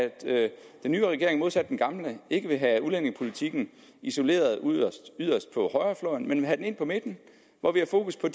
den nye regering modsat den gamle ikke vil have udlændingepolitikken isoleret yderst på højrefløjen men vil have den ind på midten hvor vi har fokus på